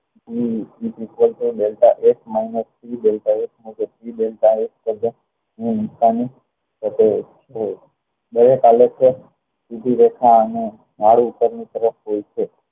બંને આલેખ ની જુદી રેખા અને નાડી ઉપર ની તરફ હોય છે